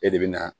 E de bɛ na